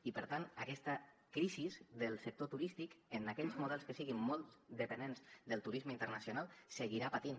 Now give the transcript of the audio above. i per tant aquesta crisi del sector turístic en aquells models que siguin molt dependents del turisme internacional seguirà patint